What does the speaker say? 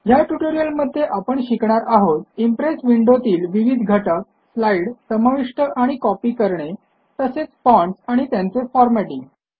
ह्या ट्युटोरियलमध्ये आपण शिकणार आहोत इम्प्रेस विंडोतील विविध घटक स्लाईड समाविष्ट आणि कॉपी करणे तसेच फाँट्स आणि त्यांचे फॉरमॅटिंग